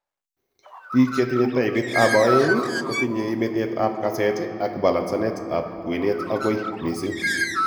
Biik chetinye taipit ab oeng' kotinye betet ab kaseet ak balancenet ab kwenet akoi mising'